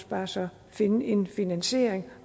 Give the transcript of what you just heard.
bare også finde en finansiering